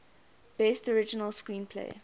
best original screenplay